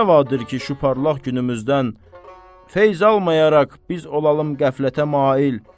Nə rəvadır ki, şu parlaq günümüzdən feyz almayaraq biz olalım qəflətə mail.